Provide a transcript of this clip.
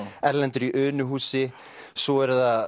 Erlendur í Unuhúsi svo eru það